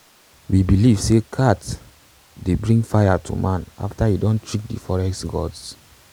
we believe sey cat bring fire to man after e don trick de forest gods